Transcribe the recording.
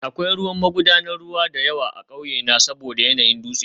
Akwai ruwan magudanar ruwa da yawa a ƙauyena saboda yanayin dutse